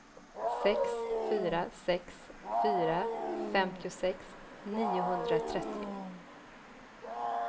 sex fyra sex fyra femtiosex niohundratrettio